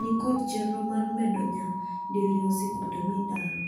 ni kond chenro mar medo nya diriyo sikunde midaro.